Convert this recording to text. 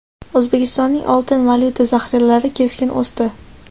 O‘zbekistonning oltin valyuta zaxiralari keskin o‘sdi.